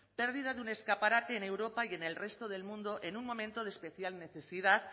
pérdida de un escaparate en europa y en el resto del mundo en un momento de especial necesidad